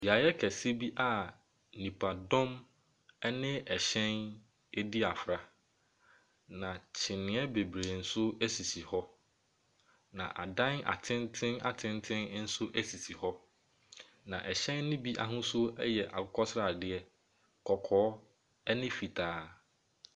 Beaeɛ kese bi nnipadɔm ne ɛhyɛn adi afra na nkyinniɛ bebree nso sisi hɔ. Na adan atenten nso sisi hɔ. Na ɛhyɛn no ahosuo yɛ akokɔsradeɛ, kɔkɔɔ ne fitaa.